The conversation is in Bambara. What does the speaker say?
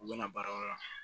U bɛna baarayɔrɔ la